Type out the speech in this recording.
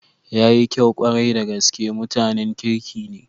Yayi kyau kwarai da gaske, mutanen kirki ne.